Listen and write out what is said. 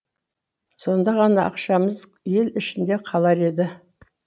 сонда ғана ақшамыз ел ішінде қалар еді